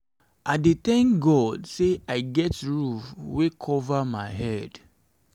i dey thank god sey i get roof wey cover my head.